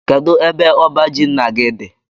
Kedụ ebe ọbá jị ńnà gị dị?